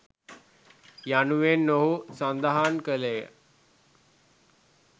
යනුවෙන් ඔහු සඳහන් කළේය.